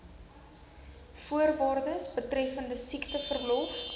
voorwaardes betreffende siekteverlof